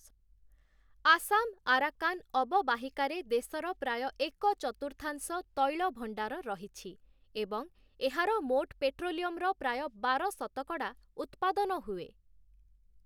Assam Arakan ଅବବାହିକାରେ ଦେଶର ପ୍ରାୟ ଏକ ଚତୁର୍ଥାଂଶ ତୈଳ ଭଣ୍ଡାର ରହିଛି ଏବଂ ଏହାର ମୋଟ ପେଟ୍ରୋଲିୟମର ପ୍ରାୟ ବାର ଶତକଡ଼ା ଉତ୍ପାଦନ ହୁଏ ।